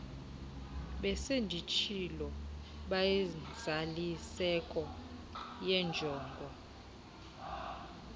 besenditshilo bayinzaliseko yenjongo